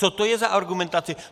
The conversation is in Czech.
Co to je za argumentaci?